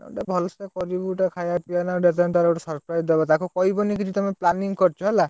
ଗୋଟେ ଭଲ ସେ କରିବୁ ଗୁଟେ ଖାଇବା ପିଇବା ନା, ଆଉ ଯେତେ ହେନେ ତାକୁ ଗୋଟେ surprise ଦବା| ତାକୁ କହିବନି କିଛି, ତମେ planning କରିଛ ହେଲା।